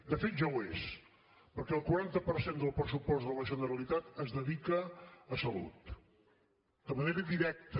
de fet ja ho és perquè el quaranta per cent del pressupost de la generalitat es dedica a salut de manera directa